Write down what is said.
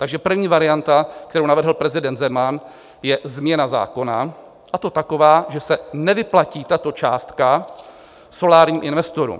Takže první varianta, kterou navrhl prezident Zeman, je změna zákona, a to taková, že se nevyplatí tato částka solárním investorům.